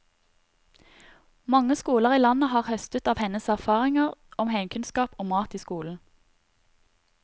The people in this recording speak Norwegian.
Mange skoler i landet har høstet av hennes erfaringer om heimkunnskap og mat i skolen.